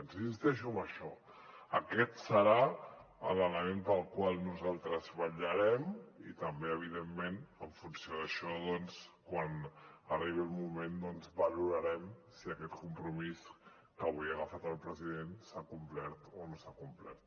i insisteixo en això aquest serà l’element pel qual nosaltres vetllarem i també evidentment en funció d’això doncs quan arribi el moment valorarem si aquest compromís que avui ha agafat el president s’ha complert o no s’ha complert